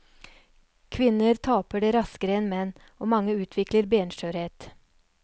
Kvinner taper det raskere enn menn, og mange utvikler benskjørhet.